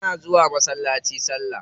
Muna zuwa masallaci salla.